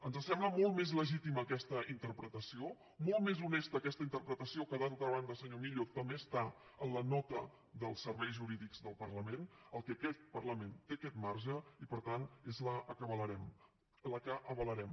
ens sembla molt més legítima aquesta interpretació molt més honesta aquesta interpretació que d’altra banda senyor millo també està en la nota dels serveis jurídics del parlament que aquest parlament té aquest marge i per tant és la que avalarem és la que avalarem